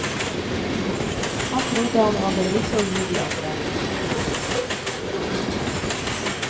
Han trodde han hadde lite å gi de andre.